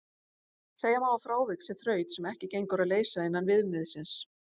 Segja má að frávik sé þraut sem ekki gengur að leysa innan viðmiðsins.